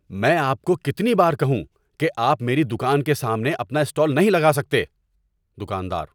میں آپ کو کتنی بار کہوں کہ آپ میری دکان کے سامنے اپنا اسٹال نہیں لگا سکتے؟ (دکاندار)